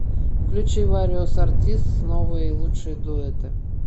включи вариос артистс новые и лучшие дуэты